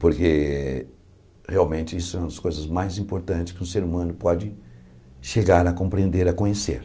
Porque realmente isso é uma das coisas mais importantes que um ser humano pode chegar a compreender, a conhecer.